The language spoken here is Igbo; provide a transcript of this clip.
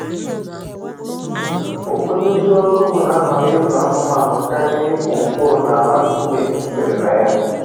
Ụfọdụ ndị ọrụ ugbo na-ahọrọ ịzụ anụmanụ karịa ịkụ mkpụrụ n’ala nkume jupụtara na ya.